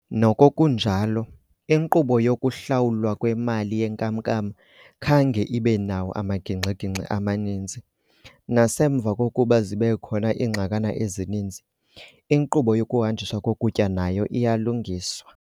Noko kunjalo, iinkqubo yokuhlawulwa kwemali yenkam-nkam khange ibe nawo amagingxi-gingxi amaninzi, nasemva kokuba zibekhona iingxakana ezininzi, inkqubo yokuhanjiswa kokutya nayo iyalungiswa.